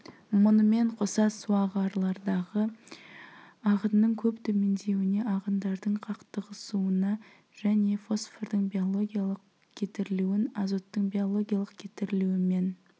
мұнымен қоса суағарлардағы ағынның көп төмендеуіне ағындардың қақтығысуына және фосфордың биологиялық кетірілуін азоттың биологиялық кетірілуімен